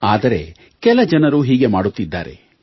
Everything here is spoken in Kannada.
ಆದರೆ ಕೆಲ ಜನರು ಹೀಗೆ ಮಾಡುತ್ತಿದ್ದಾರೆ